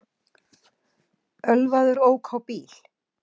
Ölvaður ók á bíl